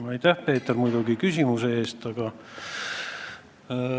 Aitäh, Peeter, muidugi küsimuse eest!